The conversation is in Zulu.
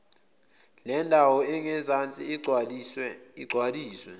lendawo engezansi igcwaliswe